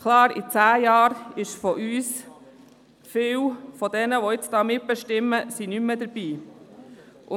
Klar, in zehn Jahren werden von uns, von vielen, die hier mitbestimmen, viele nicht mehr dabei sein.